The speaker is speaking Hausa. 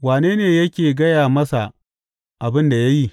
Wane ne yake gaya masa abin da ya yi?